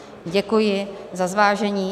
Děkuji za zvážení.